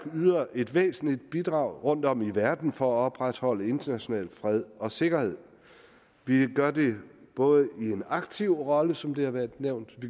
yder et væsentligt bidrag rundtom i verden for at opretholde international fred og sikkerhed vi gør det både i en aktiv rolle som det er blevet nævnt